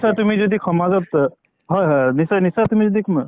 তুমি যদি সমাজত হয় হয় নিশ্চয় নিশ্চয় তুমি যদি